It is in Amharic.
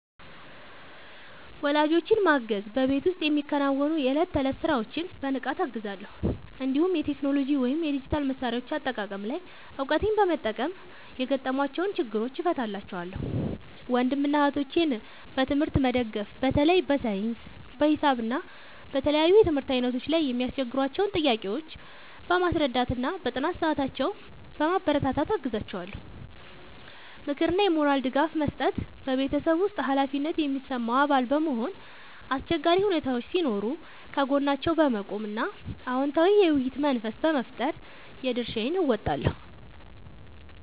ወላጆቼን ማገዝ በቤት ውስጥ የሚከናወኑ የዕለት ተዕለት ሥራዎችን በንቃት እገዛለሁ፤ እንዲሁም የቴክኖሎጂ ወይም የዲጂታል መሣሪያዎች አጠቃቀም ላይ እውቀቴን በመጠቀም የገጠሟቸውን ችግሮች እፈታላቸዋለሁ። ወንድምና እህቶቼን በትምህርት መደገፍ በተለይ በሳይንስ፣ በሂሳብ እና በተለያዩ የትምህርት ዓይነቶች ላይ የሚያስቸግሯቸውን ጥያቄዎች በማስረዳትና በጥናት ሰዓታቸው በማበረታታት አግዛቸዋለሁ። ምክርና የሞራል ድጋፍ መስጠት በቤተሰብ ውስጥ ኃላፊነት የሚሰማው አባል በመሆን፣ አስቸጋሪ ሁኔታዎች ሲኖሩ ከጎናቸው በመቆም እና አዎንታዊ የውይይት መንፈስ በመፍጠር የድርሻዬን እወጣለሁ።